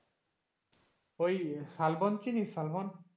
ওই শালবন চিনিস শালবন?